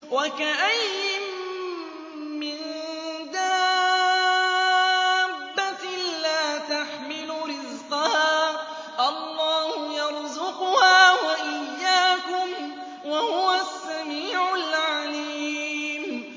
وَكَأَيِّن مِّن دَابَّةٍ لَّا تَحْمِلُ رِزْقَهَا اللَّهُ يَرْزُقُهَا وَإِيَّاكُمْ ۚ وَهُوَ السَّمِيعُ الْعَلِيمُ